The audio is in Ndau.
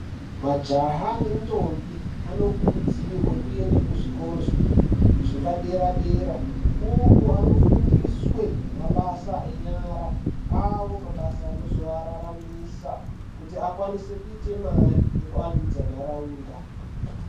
Majaha nendombi anokurudzirwe kuenda kuzvikoro zvepadera-dera, uku anofundiswe mabasa enyara. Awo mabasa anozowararamisa, kuti akwanise kuite mari, nekuvandudza nharaunda.